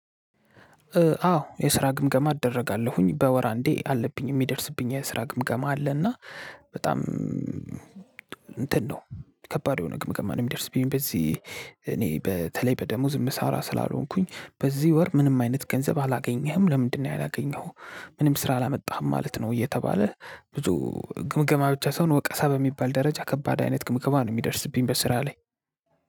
አዎ የስራ ግምገማ እደረጋለሁኝ። በወር አንዴ አለብኝ የሚደርስብኝ የስራ ግምገማ አለና በጣም እንትን ነው ከባድ የሆነ ግምገማ ነው ሚደርስብኝ። በዚህ እኔ በተለይ በደሞዝ ሚሰራ ስላልሆንኩኝ በዚህ ወር ምንም አይነት ገንዘብ አላገኘህም? ለምንድነው ያላገኘኸው? ምንም ስራ አላመጣህም ማለት ነው እየተባለ ብዙ ግምገማ ብቻ ሳይሆን ወቀሳ በሚባል ደረጃ ከባድ አይነት ግምገማ ነው የሚደርስብኝ በስራ ላይ